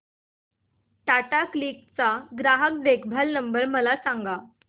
Tata Cliq चा ग्राहक देखभाल नंबर मला सांगा